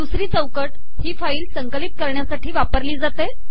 दुसरी चौकट ही फाईल संकिलत करणयासाठी वापरली जाते